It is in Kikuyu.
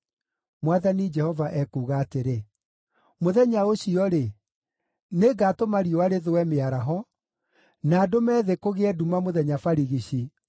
Mwathani Jehova ekuuga atĩrĩ, “Mũthenya ũcio-rĩ, “nĩngatũma riũa rĩthũe mĩaraho, na ndũme thĩ kũgĩe nduma mũthenya barigici.